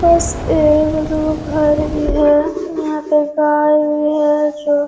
बस एक दो घर भी है यहाँ पे गाय भी है जो --